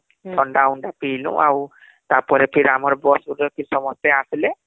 ଥଣ୍ଡା ମଣ୍ଡା ପିଇଲୁ ଆଉ ତାପରେ ଆମର bus ଭିତର କେ ସମସ୍ତେ ଆସିଲେ